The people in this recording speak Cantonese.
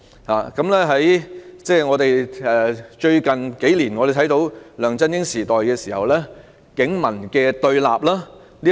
例如，在最近數年，我們看到由梁振英時期出現的警民對立。